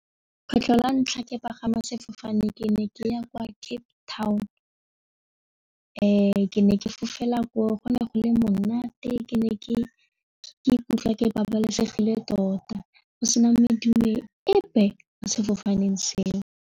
Kgetlho la ntlha ke pagama sefofane ke ne ke ya kwa Cape Town ke ne ke fofela ko go ne go le monate ke ne ke ikutlwa ke babalesegile tota go sena medumo epe mo sefofaneng seo.